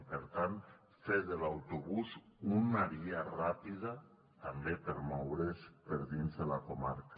i per tant fer de l’autobús una via ràpida també per moure’s per dins de la comarca